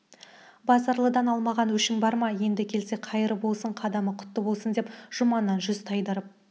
базаралыдан алмаған өшің бар ма еді келсе қайырлы болсын қадамы құтты болсын деп жұманнан жүз тайдырып